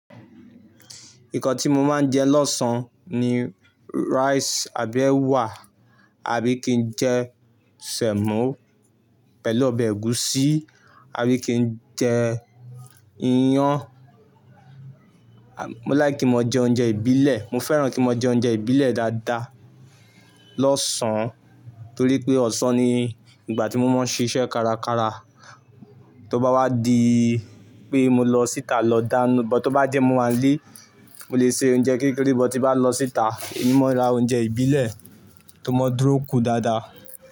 Nnkan tí mo máa ń jẹ lọ́san -an ni rice àbí èwà, àbí kí n jẹ sẹ̀mọ́ pẹ̀lú ọbẹ̀ ẹ̀gúsí, àbí kí n jẹ iyán. Mo like ki n maa jẹ oúnjẹ ìbílẹ̀, mo fẹ́ràn kí n mo jẹ oúnjẹ ìbílẹ̀ dáadáa lọ́sàn-án torí pé ọ̀sán ni ìgbà tí mo máa ń ṣiṣẹ́ kárakára. Tó bá wá di pé mo lọ síta lọ dánú, bọ̀ tó bá jẹ́ mo wà nlé, mo lè ṣe oúnjẹ kékeré, bọ̀ tí bá lọ síta, èmí máa rà oúnjẹ ìbílẹ̀ tó mọ dúró kún dáadáa.